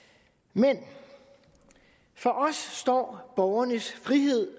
men for os står borgernes frihed